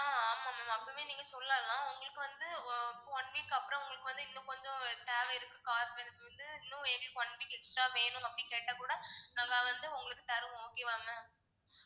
ஆஹ் ஆமா ma'am அப்போவே நீங்க சொல்லலாம் உங்களுக்கு வந்து ஆஹ் one week அப்பறம் உங்களுக்கு வந்து இன்னும் கொஞ்சம் தேவை இருக்கு car வந்து இன்னும் எங்களுக்கு one week extra வேணும் அப்படின்னு கேட்டா கூட நாங்க வந்து உங்களுக்கு தருவோம் okay வா ma'am